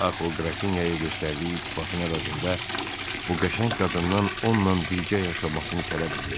Axı o Qrafinyaya göstərdiyi iltifatın əvəzində bu qəşəng qadından onunla birgə yaşamasını tələb eləyəcək.